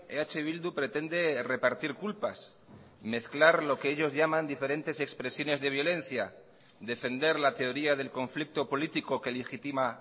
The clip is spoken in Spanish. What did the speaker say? eh bildu pretende repartir culpas mezclar lo que ellos llaman diferentes expresiones de violencia defender la teoría del conflicto político que legitima